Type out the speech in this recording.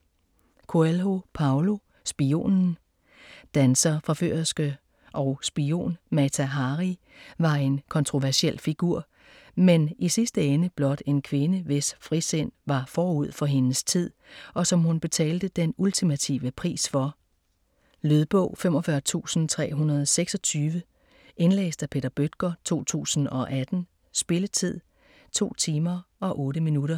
Coelho, Paulo: Spionen Danser, forførerske og spion - Mata Hari var en kontroversiel figur, men i sidste ende blot en kvinde, hvis frisind var forud for hendes tid - og som hun betalte den ultimative pris for. Lydbog 45326 Indlæst af Peter Bøttger, 2018. Spilletid: 2 timer, 8 minutter.